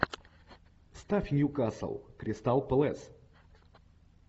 ставь ньюкасл кристал пэлас